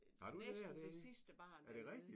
Har du det dernede? Er det rigtigt?